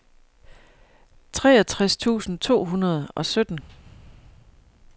treogtres tusind to hundrede og sytten